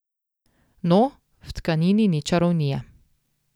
No, v tkanini ni čarovnije.